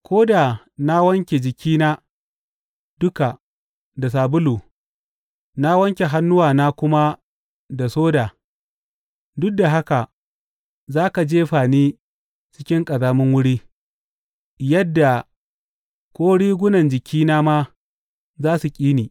Ko da na wanke jikina duka da sabulu, na wanke hannuwana kuma da soda, duk da haka za ka jefa ni cikin ƙazamin wuri, yadda ko rigunan jikina ma za su ƙi ni.